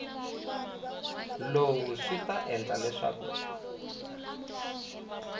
lowu swi ta endla leswaku